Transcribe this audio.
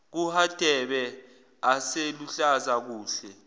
kahadebe aseluhlaza kuhle